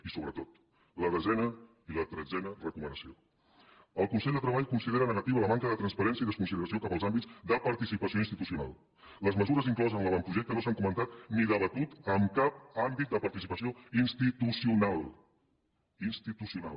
i sobretot la desena i la tretzena recomanacions el consell de treball considera negativa la manca de transparència i la desconsideració cap als àmbits de participació institucional les mesures incloses en l’avantprojecte no s’han comentat ni debatut en cap àmbit de participació institucional institucional